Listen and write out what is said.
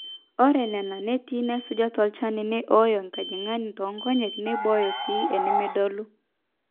ore nena neeti naaisuja tolchani nei ooyo enkajang'ani toonkonyek neibooyo sii enimidolu